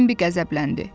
Bambi qəzəbləndi.